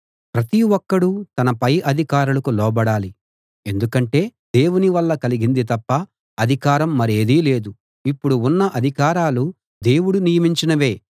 ప్రతి ఒక్కడూ తన పై అధికారులకు లోబడాలి ఎందుకంటే దేవుని వల్ల కలిగింది తప్ప అధికారం మరేదీ లేదు ఇప్పుడు ఉన్న అధికారాలు దేవుడు నియమించినవే